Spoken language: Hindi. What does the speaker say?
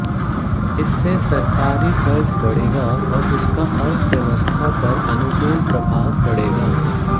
इससे सरकारी खर्च बढ़ेगा और इसका अर्थव्यवस्था पर अनुकूल प्रभाव पड़ेगा